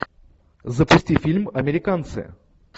запусти фильм американцы